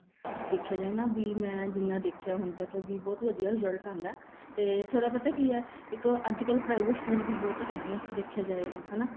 ਦੇਖਿਆ ਜਾਏ ਨਾ ਵੀ ਮੈਂ ਜਿੰਨਾ ਦੇਖਿਆ ਹੁਣ ਤੱਕ ਵੀ ਬਹੁਤ ਵਧੀਆ result ਆਂਦਾ ਤੇ ਥੋੜਾ ਪਤਾ ਕੀ ਹੈ ਇੱਕ ਅੱਜਕਲ private school ਵੀ ਹੈਗੇ ਏ ਦੇਖਿਆ ਜਾਏ ਤਾਂ ਹਨਾ